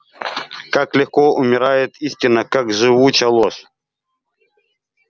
как легко умирает истина как живуча ложь